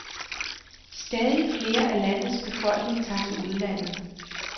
Stadig flere af landets befolkning tager til udlandet.